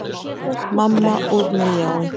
Manninn með ljáinn.